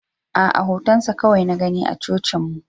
A'a, hotonsa kawai na gani a cocinmu.